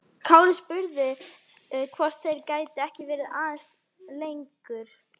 Kári spurði hvort þeir gætu ekki verið aðeins lengur.